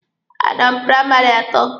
A nọ m praịmarị atọ.